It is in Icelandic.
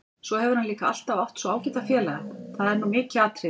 Svo hefur hann líka alltaf átt svo ágæta félaga, það er nú mikið atriði.